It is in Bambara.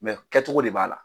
kɛcogo de b'a la.